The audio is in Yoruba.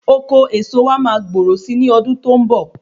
Oko eso wa ma gbòòrò sí ní ọdún tó ń bọ̀